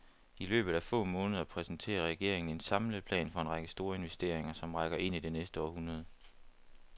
I løbet af få måneder præsenterer regeringen en samlet plan for en række store investeringer, som rækker ind i det næste århundrede.